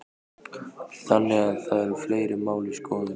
Þannig að það eru fleiri mál í skoðun?